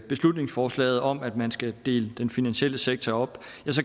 beslutningsforslaget om at man skal dele den finansielle sektor op